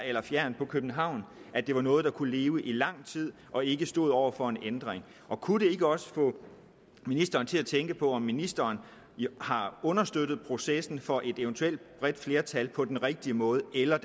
eller fjernt fra københavn at det var noget der kunne leve i lang tid og ikke stod over for en ændring og kunne det ikke også få ministeren til at tænke over om ministeren har understøttet processen for et eventuelt bredt flertal på den rigtige måde eller